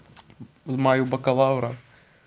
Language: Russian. в мою бакалавра